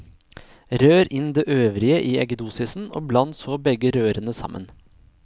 Rør inn det øvrige i eggedosisen, og bland så begge rørene sammen.